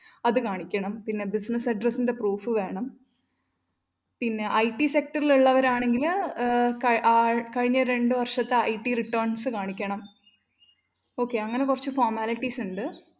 അത് കാണിക്കണം, പിന്നെ business address ന്റെ proof വേണം. പിന്നെ IT sector ല്‍ഉള്ളവരാണെങ്കില്‍ അഹ് ആള്‍ കഴിഞ്ഞരണ്ട് വര്‍ഷത്തെ IT returns കാണിക്കണം okay അങ്ങനെ കുറച്ച് formalities ഉണ്ട്.